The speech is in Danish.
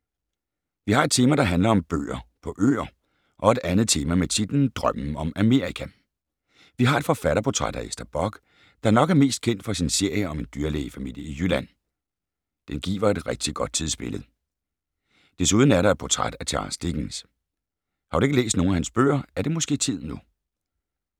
Vi har et tema, der handler om bøger på øer og et andet tema med titlen Drømmen om Amerika. Vi har et forfatterportræt af Ester Bock, der nok er mest kendt for sin serie om en dyrlægefamilie i Jylland. Den giver et rigtigt godt tidsbillede. Desuden er der et portræt af Charles Dickens. Har du ikke læst nogen af hans bøger, er det måske tid nu.